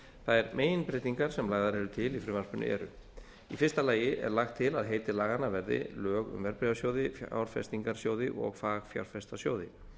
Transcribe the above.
þær meginbreytingar sem lagðar eru til í frumvarpinu eru í fyrsta lagi er lagt til að heiti laganna verði lög um verðbréfasjóði fjárfestingarsjóði og fagfjárfestasjóði